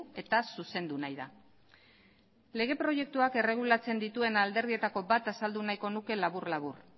eta zuzendu nahi da lege proiektuak erregulatzen dituen alderdietako bat azaldu nahiko nuke labur labur